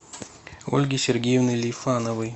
ольги сергеевны лифановой